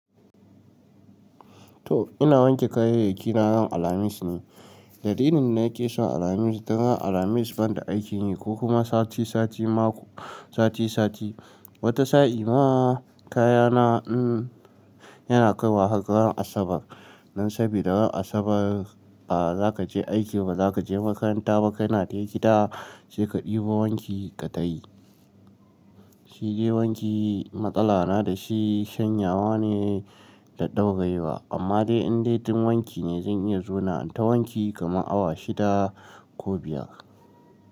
To ina wanke kayayyaki na ran Alhamis ne. Dalilin da yake son Alhamis, dan ran Alhamis ban da aikin yi ko kuma sati sati, mako sati sati. Wata sa'i ma kayana yana kaiwa har ran Asabar. Nan sabida ran Asabar a za ka je aiki, ba za ka je makaranta ba. Ka na dai gida, sai ka ɗibo wanki ka tayi. Shi dai wanki matsala na da shi shanyawa ne da ɗaurayewa. Amma dai in dai tun wanki ne, zan iya zauna ta wanki kama awa shida ko biyar.